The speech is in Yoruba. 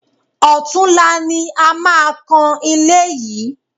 Ọ̀tunla ni a máa kan ilé yìí